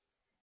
শুভবিদায়